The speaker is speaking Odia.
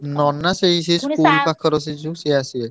ନନା ସେଇ ସେଇ school ପାଖର ସେ ଯୋଉ ସେ ଆସିବେ।